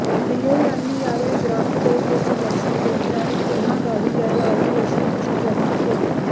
लियो यांनी यावेळी ग्रामदेवतेचे दर्शन घेतले आणि पुन्हा गावी यायला आवडेल अशी इच्छा व्यक्त केली